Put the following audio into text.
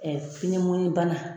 bana.